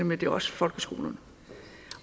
med det er også folkeskolerne